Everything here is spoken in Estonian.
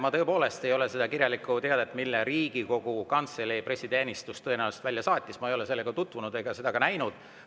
Ma ei ole tutvunud selle kirjaliku teatega, mille Riigikogu Kantselei pressiteenistus tõenäoliselt välja saatis, ega seda näinud.